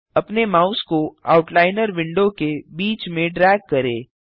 अपने माउस को outliner window के बीच में ड्रैग करें